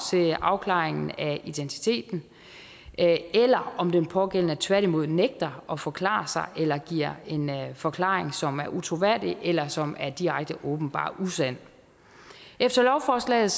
til afklaringen af identiteten eller om den pågældende tværtimod nægter at forklare sig eller giver en forklaring som er utroværdig eller som er direkte åbenbart usand efter lovforslaget